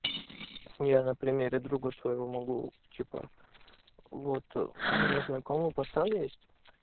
я на примере друга своего могу типа вот у меня знакомый пацан есть